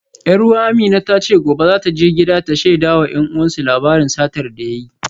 Yar uwa Amina ta ce gobe za ta je gida ta shaida wa 'yan uwansu labarin satar da ya yi